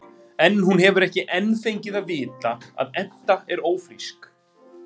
En hún hefur ekki enn fengið að vita að Edda er ófrísk.